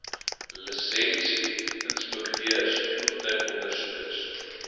lisensie inspekteurs voertuigondersoekers